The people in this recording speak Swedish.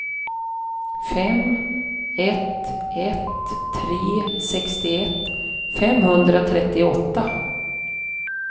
fem ett ett tre sextioett femhundratrettioåtta